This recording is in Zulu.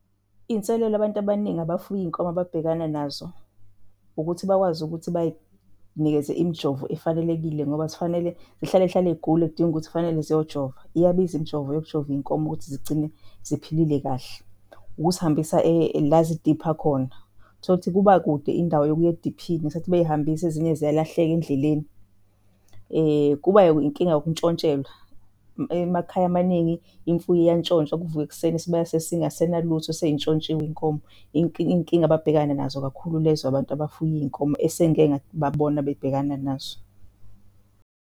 Iy'nselelo abantu abaningi abafuye iy'nkomo ababhekana nazo ukuthi bakwazi ukuthi bay'nikeze imijovo efanelekile ngoba zifanele zihlalezihlale zigule kudinge ukuthi kufanele ziyojova. Iyabiza imijovo yokujova iy'nkomo ukuthi zigcine ziphilile kahle. Ukuzihambisa la zidipha khona. Utholukuthi kuba kude indawo yokuya ediphini ngesikhaathi bey'hambisa ezinye ziyalahleka endleleni. Kuba inkinga yokuntshontshelwa, emakhaya amaningi imfuyo iyantshontshwa kuvukwe ekuseni isibaya sesingasenalutho sey'ntshontshiwe iy'nkomo. Iy'nkinga ababhekana nazo kakhulu lezo abantu abafuye iy'nkomo esengike ngababona bebhekana nazo.